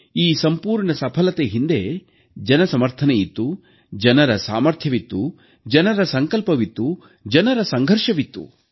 ಈ ಸಂಪೂರ್ಣ ಸಫಲತೆ ಹಿಂದೆ ಜನಸಮರ್ಥನೆಯಿತ್ತು ಜನರ ಸಾಮರ್ಥ್ಯವಿತ್ತು ಜನರ ಸಂಕಲ್ಪವಿತ್ತು ಜನರ ಸಂಘರ್ಷವಿತ್ತು